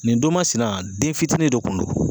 Nin don masina , den fitinin de kun don.